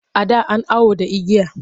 A da an awo da igiya.